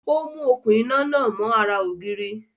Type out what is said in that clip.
Ó mú okún iná náà mọ́ ara ògiri